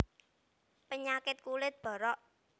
Penyakit kulit borok